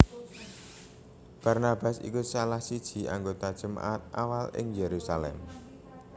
Barnabas iku salah siji anggota jemaat awal ing Yerusalem